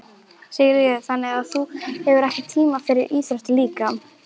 Sigríður: Þannig að þú hefur ekki tíma fyrir íþróttir líka?